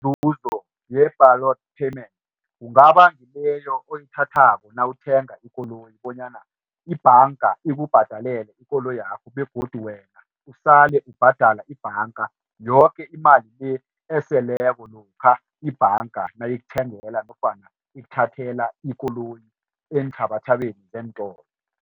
Iinzuzo ye-balloon payment kungaba ngileyo oyithathako nawuthenga ikoloyi bonyana ibhanga ikubhadalele ikoloyakho begodu wena usale ubhadala ibhanga yoke imali le eseleko lokha ibhanga nayikuthengela nofana ikuthathela ikoloyi eenthabathabeni zeentolo.